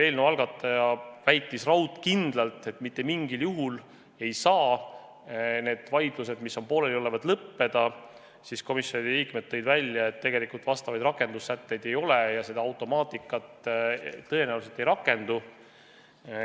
Eelnõu algatajate esindaja väitis raudkindlalt, et mitte mingil juhul ei saa pooleli olevad vaidlused lõppeda, komisjoni liikmed tõid välja, et tegelikult sellekohaseid rakendussätteid ei ole ja see automaatika tõenäoliselt ei rakendu.